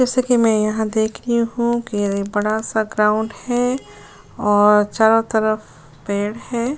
जैसा कि मैं देख रही हूं कि ये बड़ा सा ग्राउंड है और चारों तरफ पेड़ हैं।